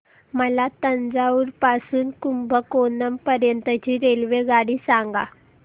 मला तंजावुर पासून तर कुंभकोणम पर्यंत ची रेल्वेगाडी सांगा